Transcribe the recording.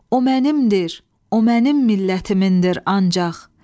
O mənimdir, o mənim millətimindir ancaq.